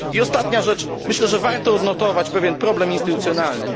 I ostatnia rzecz myślę, że warto odnotować pewien problem instytucjonalny.